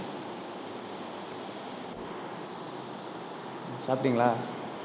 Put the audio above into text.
சாப்பிட்டீங்களா